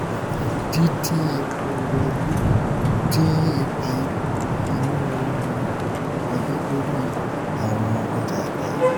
dídín epo wọlé dín ipa epo inú wọlé lórí àwọn ọjà àgbáyé